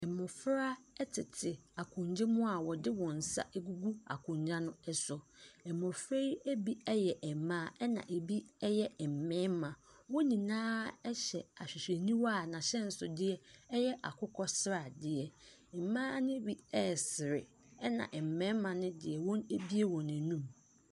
Mmofra tete akonnwa mu a wɔde wɔn nsa agugu akonnwa no so. Mmofra yi bi yɛ mmaa na ebi yɛ mmarima. Wɔn nyinaa hyehyɛ ahwehwɛniwa a n'ahyɛnsodeɛ yɛ akokɔsradeɛ. Mmaa no bi resere. Ɛna mmarima no deɛ, wɔabue wɔn anom.